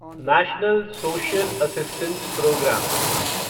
national social assistance programme